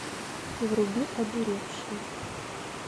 вруби одуревшие